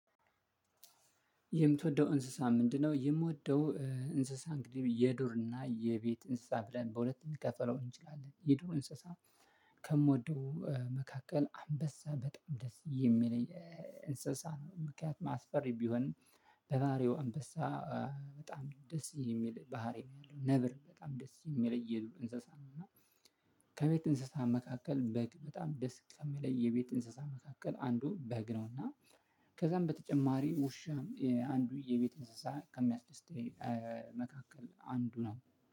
የምትወደው እንስሳ ምንድነው? የምወደው እንስሳ እንግዲህ የዱር እና የቤት እንስሳ ብለን በሁለት እንከፈለው እንችላለን። የዶሮ እንስሳ ከምወደው መካከል አንበሳ በጣም ደስ የሚለኝ እንስሳ ነው ምክንያቱም አስፈሪ ቢሆን በባህሪው አንበሳ በጣም ደስ የሚል ባህሪ ያለው ነብር በጣም ደስ የሚለይሉ እንስሳ ነው እና ከቤት እንስሳ መካከል በግ በጣም ደስ ከሚለይ የቤት እንስሳ መካከል አንዱ በግ ነውና ከዛም በተጨማሪ ውሻም አንዱ የቤት እንስሳ ከሚያስደስተኝ መካከል አንዱ ነው።